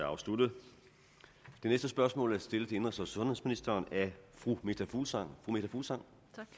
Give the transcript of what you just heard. afsluttet det næste spørgsmål er stillet til indenrigs og sundhedsministeren af fru meta fuglsang fuglsang